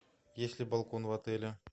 есть ли балкон в отеле